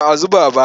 Ba a zuba ba.